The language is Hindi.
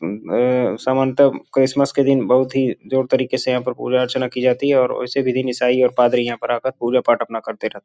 उ य समानतः क्रिसमस के दिन बहुत ही जोर तरीके से यहाँ पर पूजा अर्चना की जाती है और उसी के दिन ईसाई और पादरी यहाँ पर आ कर पूजा पाठ अपना करते रहते हैं।